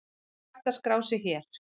Hægt er að skrá sig hér.